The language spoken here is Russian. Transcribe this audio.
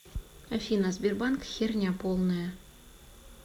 афина сбербанк херня полная